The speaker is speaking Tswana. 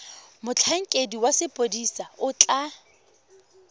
motlhankedi wa sepodisi o tla